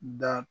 Da